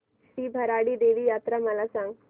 श्री भराडी देवी यात्रा मला सांग